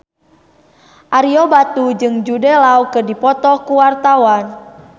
Ario Batu jeung Jude Law keur dipoto ku wartawan